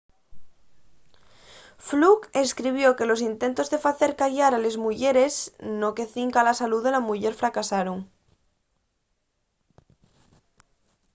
fluke escribió que los intentos de facer callar a les muyeres no que cinca a la salú de la muyer fracasaron